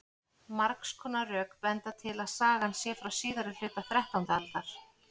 margs konar rök benda til að sagan sé frá síðari hluta þrettándu aldar